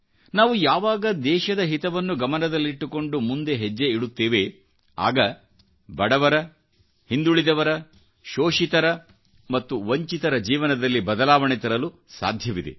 ನಾವುಯಾವಾಗ ದೇಶದ ಹಿತವನ್ನು ಗಮನದಲ್ಲಿಟ್ಟುಕೊಂಡು ಮುಂದೆ ಹೆಜ್ಜೆ ಇಡುತ್ತೇವೆ ಆಗ ಬಡವರ ಹಿಂದುಳಿದವರ ಶೋಷಿತರ ಮತ್ತು ವಂಚಿತರ ಜೀವನದಲ್ಲಿಬದಲಾವಣೆ ತರಲು ಸಾಧ್ಯವಿದೆ